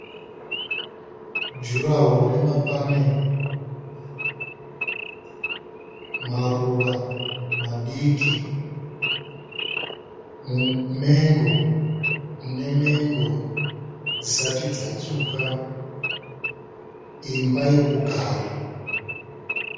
Juraho remapanera. Maruva madiki. Mumengo une mengo dzisati dzatsvuka. Imba yokugara.